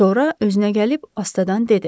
Sonra özünə gəlib, astadan dedi.